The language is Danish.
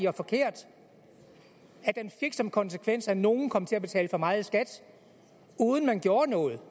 og forkert og at den fik som konsekvens at nogle kom til at betale for meget i skat uden man gjorde noget